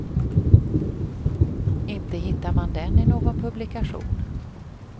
Inte hittar man den i någon publikation.